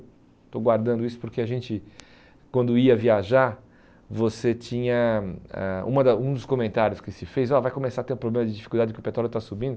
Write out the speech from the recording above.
Estou guardando isso porque a gente, quando ia viajar, você tinha... Ãh uma da um dos comentários que se fez, ó vai começar a ter um problema de dificuldade porque o petróleo está subindo.